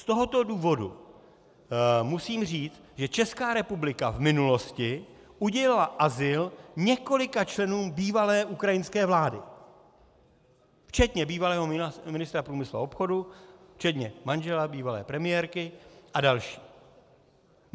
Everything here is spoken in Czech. Z tohoto důvodu musím říct, že Česká republika v minulosti udělila azyl několika členům bývalé ukrajinské vlády včetně bývalého ministra průmyslu a obchodu, včetně manžela bývalé premiérky a dalších.